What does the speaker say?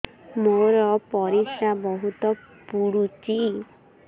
ମୋର ପରିସ୍ରା ବହୁତ ପୁଡୁଚି